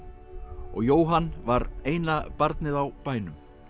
og Jóhann var eina barnið á bænum